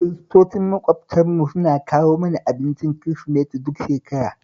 Kiristocin maƙwabtanmu suna kawo mana abincin Kirisimeti duk shekara